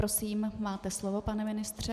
Prosím, máte slovo, pane ministře.